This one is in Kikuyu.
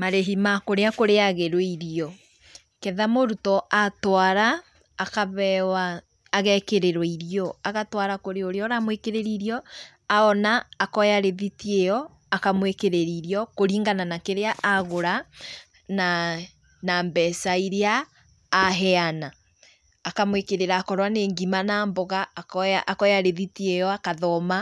Marĩhi ma kũrĩa kũrĩagĩrwo irio, ketha mũrutwo atwara, akabewa, agekĩrĩrwo irio. Agatwara kũrĩ ũrĩa ũramwĩkĩrĩra irio, ona, akoya rĩthiti ĩyo, akamwĩkĩrĩra irio, kũringana na kĩrĩa agũra, naa na mbeca iria aheana. Akamwĩkĩrĩra akorwo nĩ ngima na mboga, akoya akoya rĩthiti ĩyo akathoma,